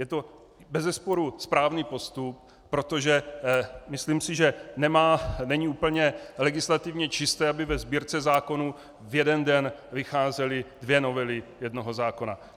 Je to bezesporu správný postup, protože si myslím, že není úplně legislativně čisté, aby ve Sbírce zákonů v jeden den vycházely dvě novely jednoho zákona.